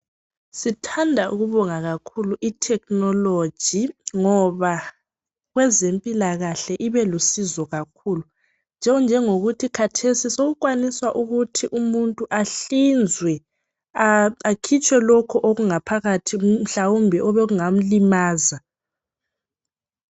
Sithanda ukubonga kakhulu itechnology ngoba kweze mpilakahle ibelusizo kakhulu okungangokuthi khathesi sokukwaniswa ukuthi umuntu ahlinzwe akhitshwe lokhu okungaphakathi mhlawumbe obekungamlimaza